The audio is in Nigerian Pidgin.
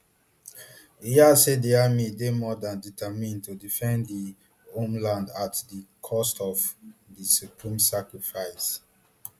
e add say di army dey more dan determined to defend di homeland at di cost of di supreme sacrifice